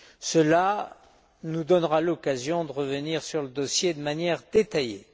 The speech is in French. Cela nous donnera l'occasion de revenir sur le dossier de manière détaillée.